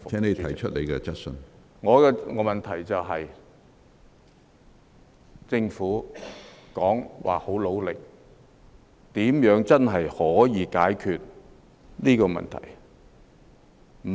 我的補充質詢是，政府說會很努力，但如何真的可以解決這問題？